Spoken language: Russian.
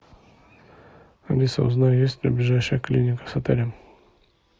алиса узнай есть ли ближайшая клиника с отелем